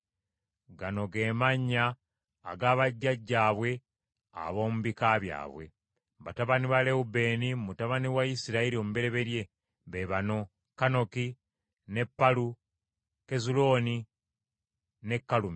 Gano ge mannya aga bajjajjaabwe ab’omu bika byabwe: Batabani ba Lewubeeni, mutabani wa Isirayiri omubereberye, be bano: Kanoki ne Palu, Kezulooni ne Kalumi.